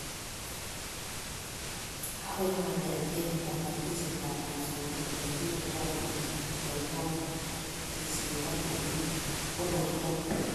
Akoi onetkei kobotishetab mosongik, olekikirindoi kuutik ak mienwokik, kesishet ak olekikonortoi